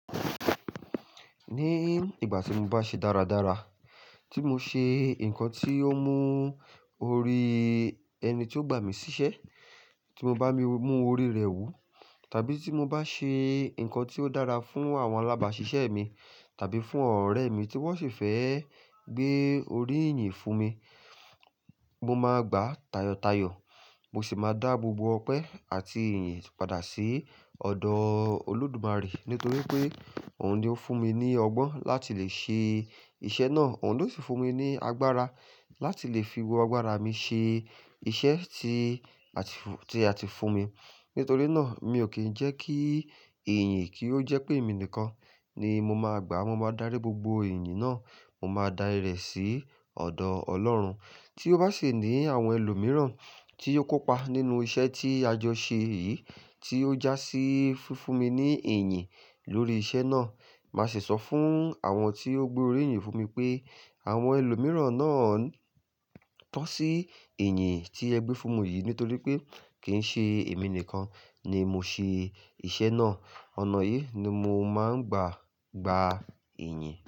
Ní ìgbà tí mo bá ṣe dáradára, tí mo ṣe nǹkan tí ó mú orí ẹni tí ó gbà mí síṣẹ́, tí mo bá mú orí rẹ̀ wù, tàbí tí mo bá ṣe nǹkan tí ó dára fún àwọn alábàáṣiṣẹ́ mi tàbí fún ọ̀rẹ́ mi tí wọ́n sì fẹ́ gbé orí yìnyín fún mi, mo máa gbà tayọ̀tayọ̀. Mo sì máa dá gbogbo ọpẹ́ àti ìrìn yìí padà sí ọ̀dọ̀ Olódùmarè. Nítorí pé òun ni ó fún mi ní ọgbọ́n láti lè ṣe iṣẹ́ náà. Òun ló sì fún mi ní agbára láti lè fi gbogbo agbára mi ṣe iṣẹ́ tí a ti, tí a ti fún mi. Nítorí náà mi ò kí ń jẹ́ kí iyìn kì í jẹ́ pé èmi nìkan ni mo máa gbà. Mo máa darí gbogbo iyìn náà, mo máa dáa rẹ̀ sí ọ̀dọ̀ Ọlọ́run. Tí ó bá sì ní àwọn ẹlòmíràn tí ó kópa nínú iṣẹ́ tí a jọ ṣe yìí tí ó jásí fúnfún mi ní iyìn lórí iṣẹ́ náà. Màá sì sọ fún àwọn tí ó gbé orí yìn fún mi pé àwọn ẹlòmíràn náà tọ́ sí iyìn tí ẹ gbé fún mi yìí. Nítorí pé kì í ṣe èmi nìkan ni mo ṣe iṣẹ́ náà. Ọ̀nà yìí ni mo máa ń gbà gba èyìn.